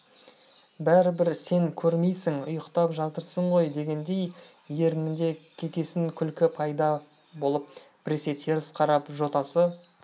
бәрібір сен көрмейсің ұйықтап жатырсың ғой дегендей ернінде кекесін күлкі пайда болып біресе теріс қарап жотасы